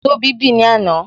Tóbi bì ní àná